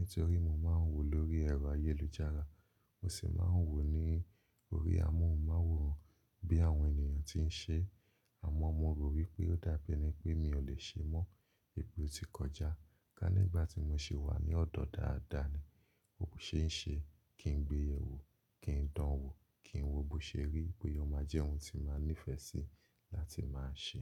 ntorí mo má ń wò lórí ẹ̀rọ ayélujára. Mo sì má ń wò ní orí amóhùnmáwòrán bí àwọn ènìyàn ti n ṣe. Àmọ mo rò wípé ó dàbí eni pé mi ò le ṣe mọ́. Wipè o ti kọjá, ká nígbà tí mo ṣe wà ní ọ̀dọ̀ dáadáa ni, ó ṣeéṣe kí n gbẹ̀yẹ̀wò, kí n dán an wò, kí n wo bó ṣe ríi bóya o má jẹ́ ohun tí má nífẹ́ sì láti má ṣè.